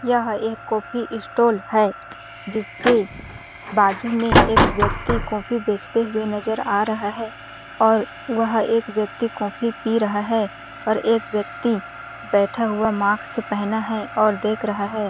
यह एक coffee stall है जिसके बाजु में एक व्यक्ति कॉफ़ी बेचते हुए नज़र आ रहा है और वह एक व्यक्ति कॉफ़ी पी रहा है पर एक व्यक्ति बैठा हुआ मास्क पहना है और देख रहा हैं।